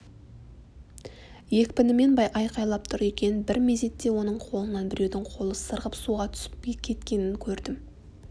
екпінімен айқайлап тұр екен бір мезетте оның қолынан біреудің қолы сырғып суға түсіп кеткенін көрдім